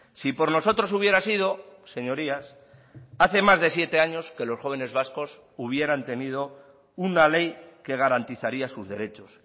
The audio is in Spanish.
si por nosotros hubiera sido señorías hace más de siete años que los jóvenes vascos hubieran tenido una ley que garantizaría sus derechos